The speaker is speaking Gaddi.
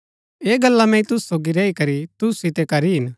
ऐह गल्ला मैंई तुसु सोगी रैई करी तुसु सितै करी हिन